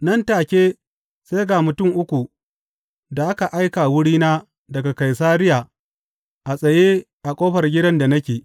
Nan take sai ga mutum uku da aka aika wurina daga Kaisariya a tsaye a ƙofar gidan da nake.